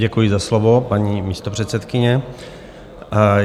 Děkuji za slovo, paní místopředsedkyně.